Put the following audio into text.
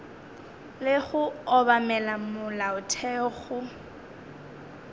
le go obamela molaotheo go